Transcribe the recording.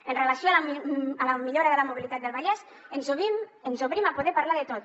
amb relació a la millora de la mobilitat del vallès ens obrim a poder parlar de tot